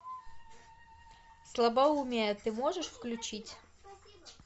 слабоумие ты можешь включить